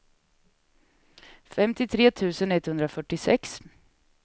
femtiotre tusen etthundrafyrtiosex